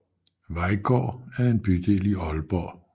Vejgaard er en bydel i Aalborg